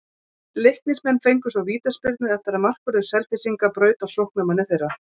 Leiknismenn fengu svo vítaspyrnu eftir að markvörður Selfyssinga braut á sóknarmanni þeirra.